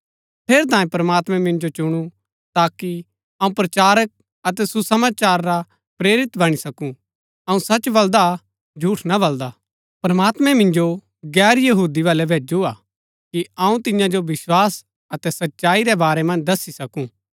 ठेरैतांये प्रमात्मैं मिन्जो चुणु ताकि अऊँ प्रचारक अतै सुसमाचार रा प्रेरित बणी सकूँ अऊँ सच बल्‍दा झूठ ना बल्‍दा प्रमात्मैं मिन्जो गैर यहूदी बलै भैजु हा कि अऊँ तिन्या जो विस्वास अतै सच्चाई रै बारै मन्ज दस्सी सकूँ